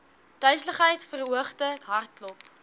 duiseligheid verhoogde hartklop